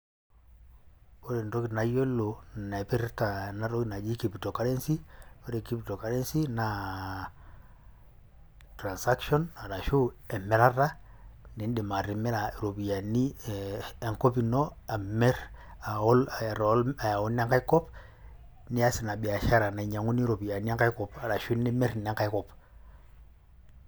Ore entoki nayiolo naipirta enatoki naji cryptocurrency, ore cryptocurrency naa transaction ashu emirata niindim atimira iropiani enkop ino, amir ayau nengaikop nias ina biashara nainyang'uni iropiani enkai kop ashu nimir inengaikop.